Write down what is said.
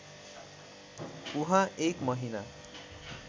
उहाँ १ महिना